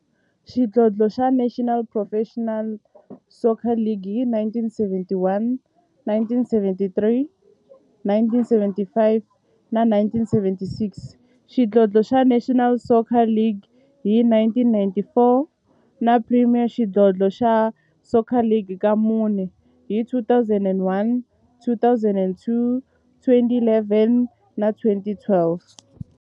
xidlodlo xa National Professional Soccer League hi 1971, 1973, 1975 na 1976, xidlodlo xa National Soccer League hi 1994, na Premier Xidlodlo xa Soccer League ka mune, hi 2001, 2003, 2011 na 2012.